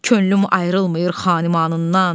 Könlüm ayrılmır xanimanımdan.